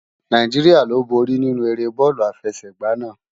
Náijiriá lo bóri ninú éré bòlú áfèsègbá àná